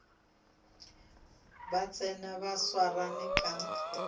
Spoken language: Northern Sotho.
ba tsena ba swarane ka